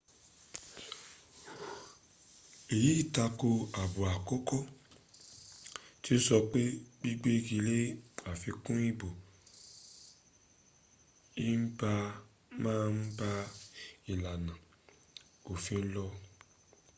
èyí tako àbọ̀ àkọ́kọ́ tí ó sọ pé gbigbégilé àfikun ìbò ìba má ba ìlànà òfin lọ